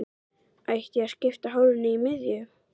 Ætti ég að skipta hárinu í miðju?